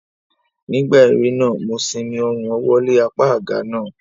Nígbà eré náà, mo simi ọrùn ọwọ́ lé apá àga náà